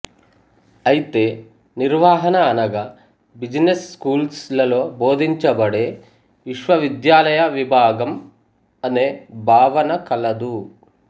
అయితే నిర్వహణ అనగా బిజినెస్ స్కూల్స్ లలో బోధించబడే విశ్వవిద్యాలయ విభాగం అనే భావన కలదు